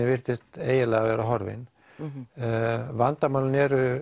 virtist eiginlega vera horfinn vandamálin eru